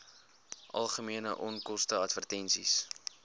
algemene onkoste advertensies